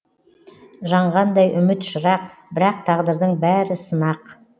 жаңғандай үміт шырақ бірақ тағдырдың бәрі сынақ